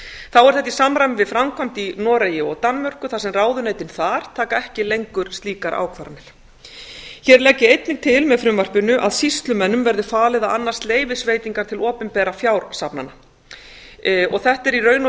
þá er þetta í samræmi við framkvæmd í noregi og danmörku þar sem ráðuneytin þar taka ekki lengur slíkar ákvarðanir hér legg ég einnig til með frumvarpinu að sýslumönnum verið falið að annast leyfisveitingar til opinberra fjársafnana og þetta er í raun og veru eins